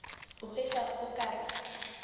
a hwetša o ka re